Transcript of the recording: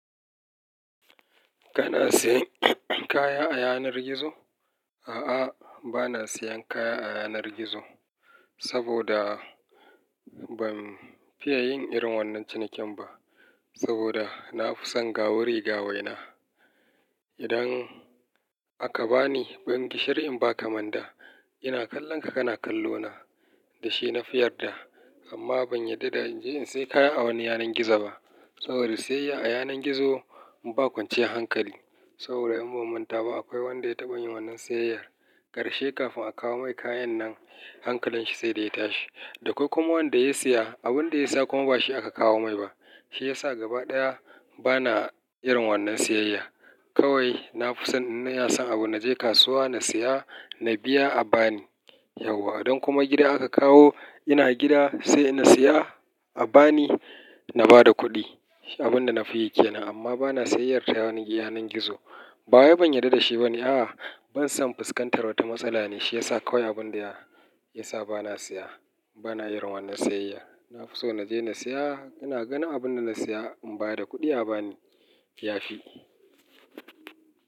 Kana sayan kaya a yanar gizo? A'a, ba na sayan kaya a yanar gizo saboda ban fiya yin irin wannan cinikin ba saboda na fi son gawu rigawa na. Idan aka bani ban gishiri in ba kamanda, ina kallonka kana kallo na da shi na fiyar da. Amma ban yarda da in je in sayi kaya a wani yanar gizo ba saboda siyayya a yanar gizo ba kwance hankali saboda in mummunta ba akwai wanda ya taɓa yin wannan siyayyar. Ƙarshe kafin a kawo mai kayan nan hankalin shi sai da ya tashi. Dako ku kuma wanda ya siya abunda ya saka kuma ba shi aka kawo mai ba. Shi ya sa gaba ɗaya bana irin wannan siyayya. Kawai na fi son in na ya san abu na je kasuwa na siya na biya a bani yauwa. Idan kuma gida aka kawo ina gida sai ina siya a bani na bada kuɗi abunda na fi yake nan. Amma bana siyayyar ta yanar gizo. Bayan ban yarda da shi bane a'a ban son fuskantar wata matsala ne shi yasa kawai abinda ya sa bana siya bana irin wannan siyayya. Na fi so na je na siya ina gan abunda na siya in bada kuɗi a bani ya fi.